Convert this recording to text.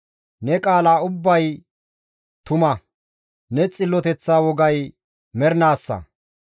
Ne qaala ubbay tuma; ne xilloteththa wogay mernaassa.